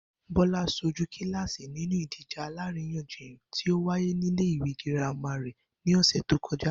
Bó̩lá s̩ojú kíláàsì nínú ìdíje àlaríyànjiyàn tí ó wáyé nílé ìwé girama rè̩ ní ò̩sè̩ tó ko̩já